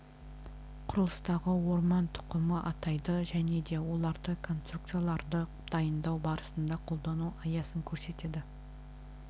құрылыстағы орман тұқымын атайды және де оларды конструкцияларды дайындау барысында қолдану аясын көрсетеді